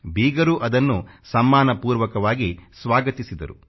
ಬೀಗರೂ ಅದನ್ನು ಸಮ್ಮಾನಪೂರ್ವಕವಾಗಿ ಸ್ವಾಗತಿಸಿದ್ದರು